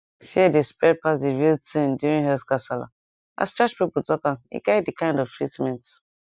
fear dey spread pass the real thing during health gasala as church people talk am e guide the kind of treatment